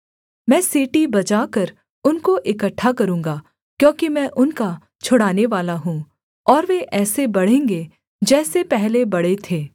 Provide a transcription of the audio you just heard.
मैं सीटी बजाकर उनको इकट्ठा करूँगा क्योंकि मैं उनका छुड़ानेवाला हूँ और वे ऐसे बढ़ेंगे जैसे पहले बढ़े थे